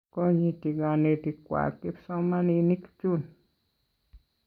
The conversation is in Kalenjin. Konyiti kanetik kwag kipsomaninik chun